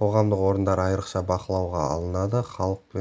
қоғамдық орындар айрықша бақылауға алынады халық